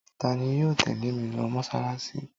Ta ni yóò tẹ́lẹ̀ mi lọ mọ́ṣáláṣí?